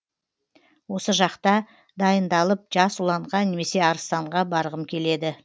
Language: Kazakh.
осы жақта дайындалып жас ұланға немесе арыстанға барғым келеді